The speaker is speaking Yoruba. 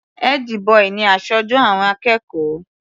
Ẹ́dí-bọì ni aṣojú àwọn akẹ́kọ̀ọ́.